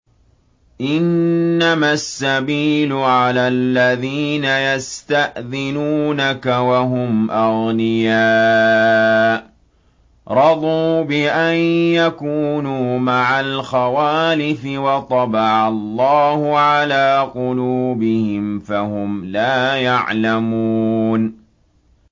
۞ إِنَّمَا السَّبِيلُ عَلَى الَّذِينَ يَسْتَأْذِنُونَكَ وَهُمْ أَغْنِيَاءُ ۚ رَضُوا بِأَن يَكُونُوا مَعَ الْخَوَالِفِ وَطَبَعَ اللَّهُ عَلَىٰ قُلُوبِهِمْ فَهُمْ لَا يَعْلَمُونَ